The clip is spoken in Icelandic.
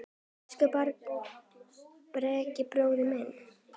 Elsku Bragi bróðir minn.